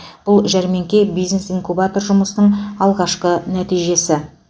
бұл жәрмеңке бизнес инкубатор жұмысының алғашқы нәтижесі